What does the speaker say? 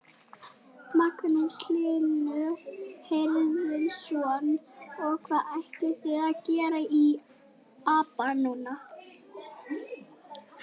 Magnús Hlynur Hreiðarsson: Og hvað ætlið þið að gera við apann núna?